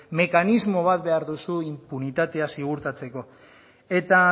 mekanismo bat behar duzu inpunitatea ziurtatzeko eta